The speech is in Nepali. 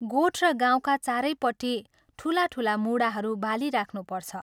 गोठ र गाउँका चारैपट्टि ठूला ठूला मूढाहरू बालिराख्नुपर्छ।